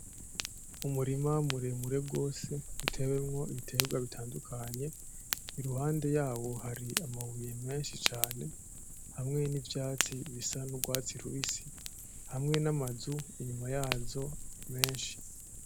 Umurima muremure gose utewemwo ibitegwa bitandukanye iruhande yaho hari amabuye menshi cane hamwe n'ivyatsi bisa n'urwatsi rubisi hamwe n'amazu inyuma yazo menshi.